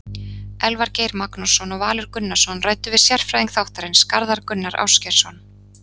Elvar Geir Magnússon og Valur Gunnarsson ræddu við sérfræðing þáttarins, Garðar Gunnar Ásgeirsson.